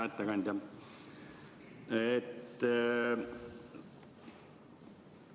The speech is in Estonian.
Hea ettekandja!